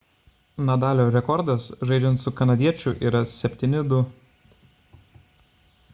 nadalio rekordas žaidžiant su kanadiečiu yra 7–2